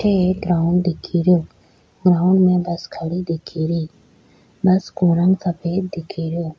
अठे एक ग्राउंड दिखे रियो ग्राउंड में बस खड़ी दिखे री बस को रंग सफेद दिखरो।